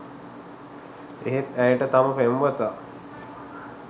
එහෙත් ඇයට තම පෙම්වතා